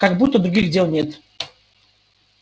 как будто других дел нет